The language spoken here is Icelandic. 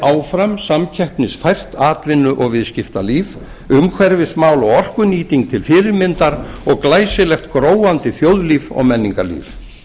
áfram samkeppnisfært atvinnu og viðskiptalíf umhverfismál og orkunýting til fyrirmyndar og glæsilegt gróandi þjóðlíf og menningarlíf